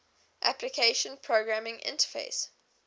application programming interface